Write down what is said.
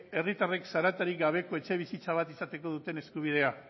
herritarrek zaratarik gabeko etxebizitza bat izateko duten eskubidea